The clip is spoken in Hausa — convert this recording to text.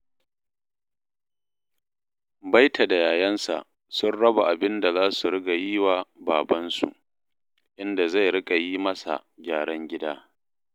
Baita da yayansa sun raba abin da za su riƙa yi wa babansu, inda zai riƙa yi masa gyaran gida